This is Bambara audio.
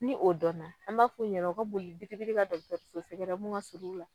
Ni o dɔnna an b'a f'u ɲɛ u ka boli bidi bidi ka dɔgɔtɔrɔso sɛgɛrɛ mun ka surun u la.